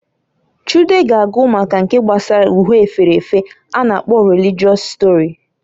Chude ga agụ maka nke gbasara uhe efere efe a na-akpo religịọs stori.